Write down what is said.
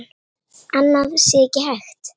Annað sé ekki hægt.